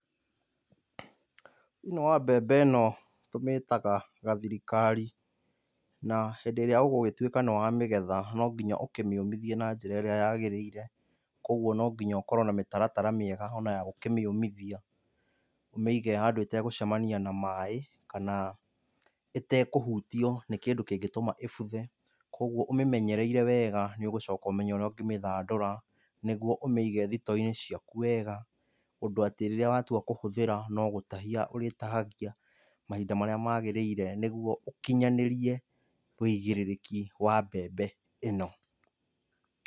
Thĩiniĩ wa mbembe ĩno tũmĩtaga gathirikari. Na hĩndĩ ĩrĩa ũgũgĩtuĩka nĩwamĩgetha no nginya ũkĩmĩũmithie na njĩra ĩrĩa yagĩrĩire. Kuoguo no nginya ũkorwo na mĩtaratara mĩega ona ya gũkĩmĩũmithia. Ũmĩige handũ ĩtegũcemania na maĩ, kana ĩtekũhutio nĩ kĩndũ kĩngĩtũma ĩbuthe, kuoguo ũmĩmenyereire weega nĩũgũcoka ũmenye ũrĩa ũngĩmĩthandũra, nĩguo ũmĩige thitoo-inĩ ciaku wega, ũndũ atĩ rĩrĩa watua kũhũthĩra no gũtahia ũrĩtahagia, mahinda marĩa magĩrĩire nĩguo ũkinyanĩrie wĩigĩrĩrĩki wa mbembe ĩno.